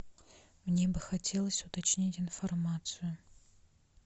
мне бы хотелось уточнить информацию